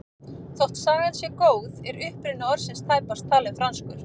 Þótt sagan sé góð er uppruni orðsins tæpast talinn franskur.